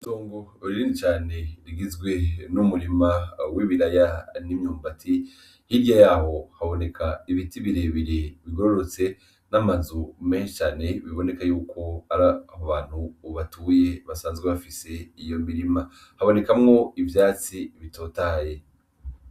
Tungu uririni cane rigizwe n'umurima w'ibiraya n'imyumbati hirye yaho haboneka ibiti birebire bigororotse n'amazu menshane biboneka yuko ariaho bantu ubatuye basanzwe bafise iyo mirima habonekamwo ivyatsi bitotaye.